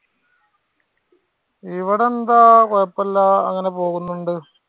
ഇവിടെ എന്താ? കുഴപ്പല്ല. അങ്ങനെ പോകുന്നുണ്ട്.